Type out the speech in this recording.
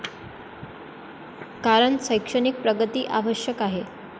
कारण शैक्षणिक प्रगती आवश्यक आहे.